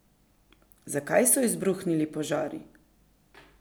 Zakaj so izbruhnili požari?